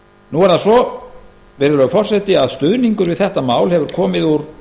nú er það svo virðulegi forseti að stuðningur við þetta mál hefur komið úr